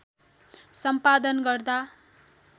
सम्पादन गर्दा